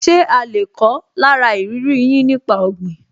Ṣe a lè kọ́ lára ìrírí yín nípa ọ̀gbìn?